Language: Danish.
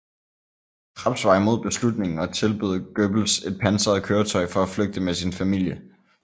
Krebs var imod beslutningen og tilbød Goebbels et pansret køretøj for at flygte med sin familie